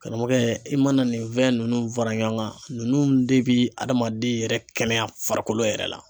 Karamɔgɔkɛ i mana nin fɛn ninnu fara ɲɔgɔn kan ninnu de bɛ adamaden yɛrɛ kɛnɛya farikolo yɛrɛ la.